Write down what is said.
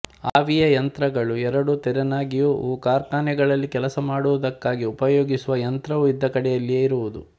ಆವಿಯಯಂತ್ರಗಳು ಎರಡು ತೆರನಾಗಿವುವುಕಾರ್ಖಾನೆಗಳಲ್ಲಿ ಕೆಲಸಮಾಡುವುದಕ್ಕಾಗಿ ಉಪಯೋಗಿಸುವ ಯಂತ್ರವು ಇದ್ದ ಕಡೆಯಲ್ಲಿಯೇ ಇರುವುದು